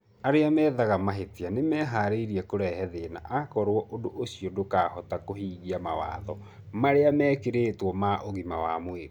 Ara methaga mahĩtia nĩmeharĩrĩirie kũrehe thvna akorwo ũndũ ũcio ndũkahota kũhĩngia mawatho marĩa mekĩrĩtwo ma ũgima wa mwĩrĩ.